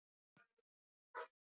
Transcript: Undi sér við að horfa.